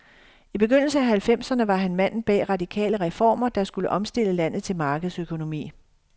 I begyndelsen af halvfemserne var han manden bag radikale reformer, der skulle omstille landet til markedsøkonomi.